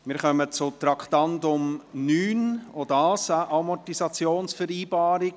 Wir kommen zum Traktandum 9, auch dies ist eine Amortisationsvereinbarung.